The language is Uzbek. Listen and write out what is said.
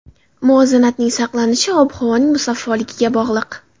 Muvozanatning saqlanishi ob-havoning musaffoligiga bog‘liq.